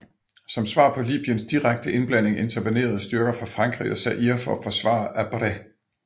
Som svar på Libyens direkte indblanding intervenerede styrker fra Frankrig og Zaire for at forsvare Habré